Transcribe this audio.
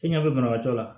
E ɲɛ bɛ banabaatɔ la